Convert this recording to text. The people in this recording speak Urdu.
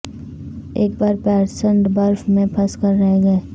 ایک بار پیئرسن برف میں پھنس کر رہ گئے